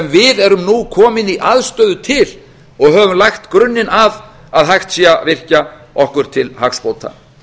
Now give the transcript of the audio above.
við erum nú komin í aðstöðu til og höfum lagt grunninn að að hægt sé að virkja okkur til hagsbóta